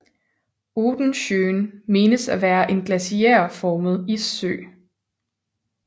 Odensjön menes at være en glaciærformet issø